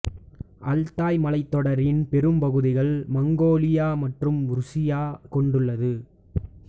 Altai மலைத்தொடரின் பெரும் பகுதிகள் மங்கோலியா மற்றும் ருசியா கொண்டுள்ளது